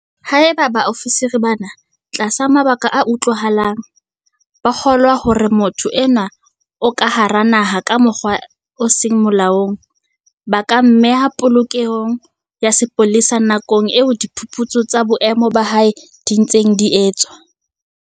Haeba baofisiri bana, tlasa mabaka a utlwahalang, ba kgolwa hore motho enwa o ka hara naha ka mokgwa o seng molaong, ba ka mmeha polokelong ya sepolesa nakong eo diphuputso tsa boemo ba hae di ntseng di etswa.